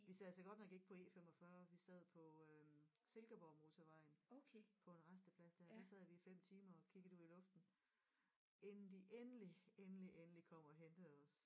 Vi sad så godt nok ikke på E45 vi sad på øh Silkeborgmotorvejen på en rasteplads der der sad vi i 5 timer og kiggede ud i luften inden de endelig endelig endelig kom og hentede os